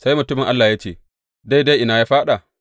Sai mutumin Allah ya ce, Daidai ina ya fāɗa?